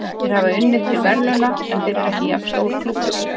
Þeir hafa unnið til verðlauna, en þeir eru ekki jafn stór klúbbur.